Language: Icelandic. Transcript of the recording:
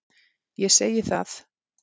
Ég segi það.